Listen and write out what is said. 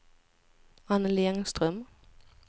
Annelie Engström